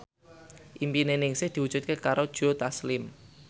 impine Ningsih diwujudke karo Joe Taslim